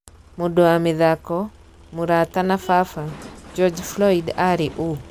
Mũndũ wa mĩthako, mũrata na baba - George Floyd ari ũũ?